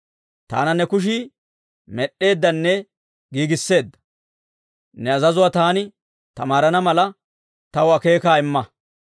Taana ne kushii med'd'eeddanne giigisseedda. Ne azazuwaa taani tamaarana mala, taw akeekaa imma.